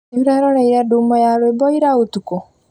Nĩũreroreire ndumo ya rwĩmbo ira ũtuku?